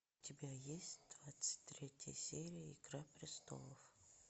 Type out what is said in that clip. у тебя есть двадцать третья серия игра престолов